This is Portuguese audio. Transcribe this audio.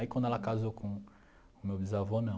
Aí quando ela casou com o meu bisavô, não.